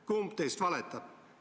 Kumb teist valetab?